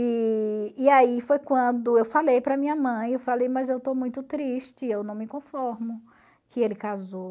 E e aí foi quando eu falei para minha mãe, eu falei, mas eu estou muito triste, eu não me conformo, que ele casou.